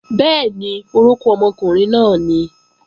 Bẹ́ẹ̀ni, orókún ọmọkùnrin náà nìí